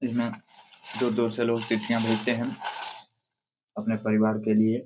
यहाँ दूर दूर से चिट्टिया भेजते है अपने परिवार के लिए।